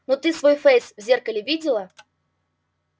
ну ты свой фейс в зеркале видела